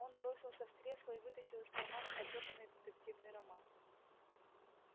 он бросился в кресло и вытащил из кармана потрёпанный детективный роман